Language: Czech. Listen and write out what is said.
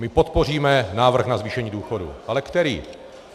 My podpoříme návrh na zvýšení důchodů - ale který?